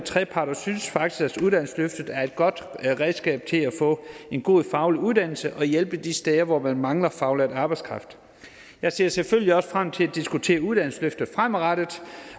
og synes faktisk at uddannelsesløftet er et godt redskab til at få en god faglig uddannelse og hjælpe de steder hvor man mangler faglært arbejdskraft jeg ser selvfølgelig også frem til at diskutere uddannelsesløftet fremadrettet